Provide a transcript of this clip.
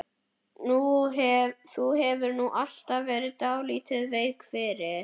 Þú hefur nú alltaf verið dálítið veik fyrir